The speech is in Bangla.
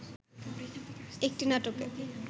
একটি নাটকে